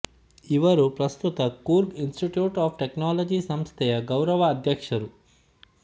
ಇವರು ಪ್ರಸ್ತುತ Coorg institute of technology ಸಂಸ್ಥೆಯ ಗೌರವ ಅಧ್ಯಕ್ಷರು